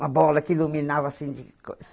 Uma bola que iluminava assim de coisa.